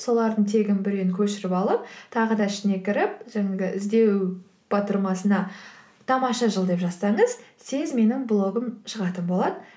солардың тегін біреуін көшіріп алып тағы да ішіне кіріп жаңағы іздеу батырмасына тамаша жыл деп жазсаңыз тез менің блогым шығатын болады